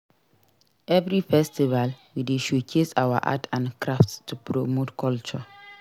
Every festival we dey showcase our art and crafts to promote culture.